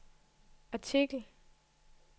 artikel